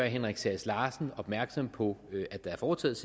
henrik sass larsen opmærksom på at der er foretaget